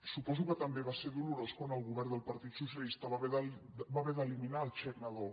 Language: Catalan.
suposo que també va ser dolorós quan el go·vern del partit socialista va haver d’eliminar el xec na·dó